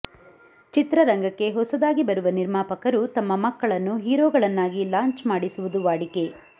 ಚಿತ್ರರಂಗಕ್ಕೆ ಹೊಸದಾಗಿ ಬರುವ ನಿರ್ಮಾಪಕರು ತಮ್ಮ ಮಕ್ಕಳನ್ನು ಹೀರೋಗಳನ್ನಾಗಿ ಲಾಂಚ್ ಮಾಡಿಸುವುದು ವಾಡಿಕೆ